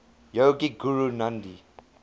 yogic guru nandhi